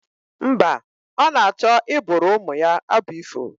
Mba, ọ na-achọ ịbụụrụ ụmụ ya abụ ifo